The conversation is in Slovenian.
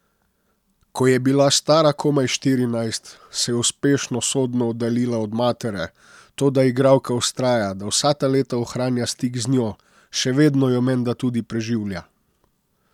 Ko je bila stara komaj štirinajst, se je uspešno sodno oddaljila od matere, toda igralka vztraja, da vsa ta leta ohranja stik z njo, še vedno jo menda tudi preživlja.